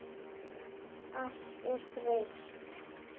Allt er breytt.